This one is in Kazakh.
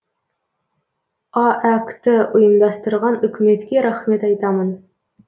аәк ті ұйымдастырған үкіметке рахмет айтамын